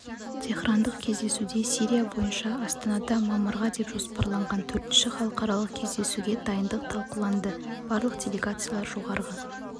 теһрандық кездесуде сирия бойынша астанада мамырға деп жоспарланған төртінші халықаралық кездесуге дайындық талқыланды барлық делегациялар жоғарғы